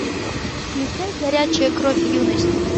включай горячая кровь юности